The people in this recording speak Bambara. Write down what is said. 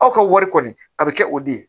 Aw ka wari kɔni a bɛ kɛ o de ye